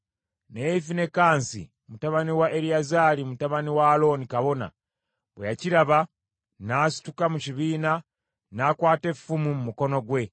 Naye Finekaasi mutabani wa Eriyazaali, mutabani wa Alooni kabona, bwe yakiraba, n’asituka mu kibiina n’akwata effumu mu mukono gwe